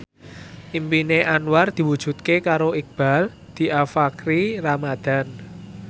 impine Anwar diwujudke karo Iqbaal Dhiafakhri Ramadhan